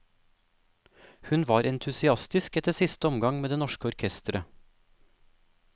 Hun var entusiastisk etter siste omgang med det norske orkestret.